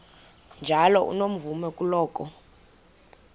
njalo unomvume kuloko